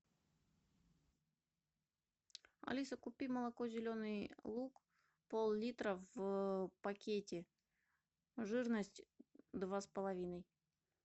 алиса купи молоко зеленый луг пол литра в пакете жирность два с половиной